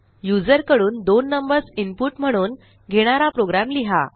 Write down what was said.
user कडून दोन numbers input म्हणून घेणारा प्रोग्रॅम लिहा